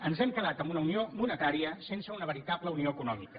ens hem quedat en una unió monetària sense una veritable unió econòmica